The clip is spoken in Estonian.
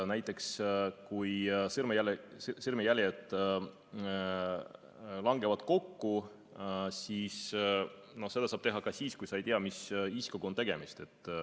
Näiteks kui sõrmejäljed langevad kokku, siis seda saab teha ka siis, kui sa ei tea, mis isikuga on tegemist.